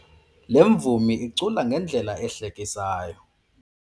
Le mvumi icula ngendlela ehlekisayo.